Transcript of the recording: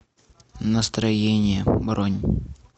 настроение бронь